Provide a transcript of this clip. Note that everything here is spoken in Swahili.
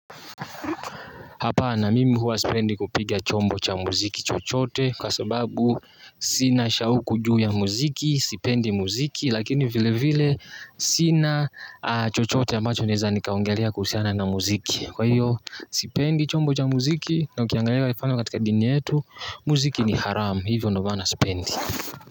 Hapana mimi huwa sipendi kupiga chombo cha muziki chochote kwa sababu sina shauku juu ya muziki, sipendi muziki lakini vile vile sina chochote ambacho naeza nikaongelea kuhusiana na muziki. Kwa hiyo sipendi chombo cha muziki na ukiangalia mifano katika dini yetu muziki ni haramu hivyo ndio maana sipendi.